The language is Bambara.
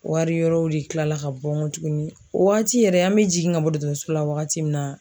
Wari wɛrɛw de kilala ka bɔ tuguni , o wagati yɛrɛ, an bɛ jigin ka bɔ dɔgɔtɔrɔso la wagati min na